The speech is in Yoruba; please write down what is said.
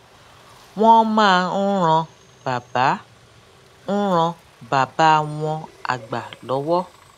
wón máa ń ran bàbá ń ran bàbá wọn àgbà lówó